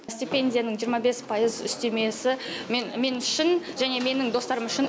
стипендияның жиырма бес пайыз үстемесі мен мен үшін және менің достарым үшін